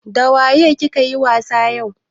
Dawaye ki ka yi wasa yau?